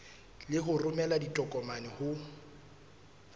le ho romela ditokomane ho